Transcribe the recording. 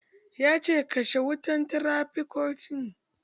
Ya ce "Kashe wutan trafikaton"!